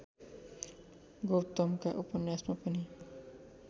गौतमका उपन्यासमा पनि